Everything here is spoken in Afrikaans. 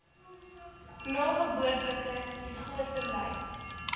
nageboortelike psigose ly